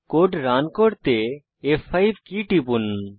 code run করার জন্য F five key টিপুন